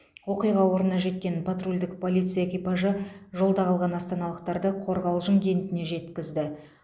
оқиға орнына жеткен патрульдік полиция экипажы жолда қалған астаналықтарды қорғалжын кентіне жеткізді